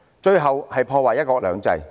最後是破壞"一國兩制"。